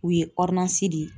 U ye di